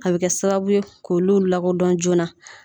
A bɛ kɛ sababu k'olu lakodɔn joona